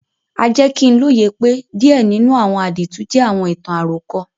A jẹ ki n loye pe díẹ̀ nínú àwọn àdìtú jẹ àwọn ìtàn-àròkọ.